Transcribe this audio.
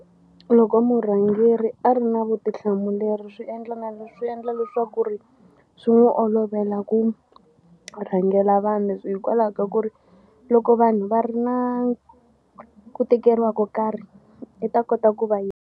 Loko murhangeri a ri na vutihlamuleri swi endla na leswi swi endla leswaku ri swi n'wi olovela ku rhangela vanhu hikwalaho ka ku ri loko vanhu va ri na ku tikeriwa ko karhi i ta kota ku va yi.